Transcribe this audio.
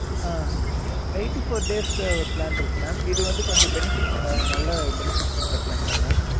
அஹ் eighty four days க்கு ஒரு plan இருக்கு mam. இது வந்து கொஞ்சம் benefits நல்ல benefits இருக்குற plan mam